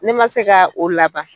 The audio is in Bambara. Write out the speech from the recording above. Ne man se ka o laban.